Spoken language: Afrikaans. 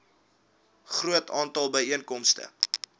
groot aantal byeenkomste